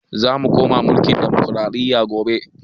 Zamu koma mulkin ɗamokraɗiya gobe